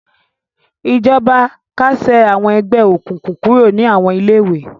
Ìjọba kásẹ̀ àwọn ẹgbẹ́ òkùnkùn kúrò ní àwọn ilé-ìwé.